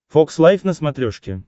фокс лайф на смотрешке